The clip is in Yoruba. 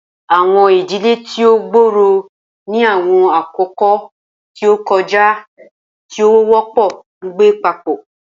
Awọn idile ti o gbooro ni awọn akoko ti o kọja ti o wọpọ ngbe papọ.